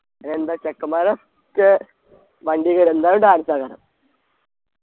എന്താ ചെക്കമ്മാരൊക്കെ വണ്ടി കേറും എന്തായാലും dance ആക്കാനാ